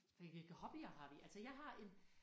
Hvilke hobbyer har vi altså jeg har en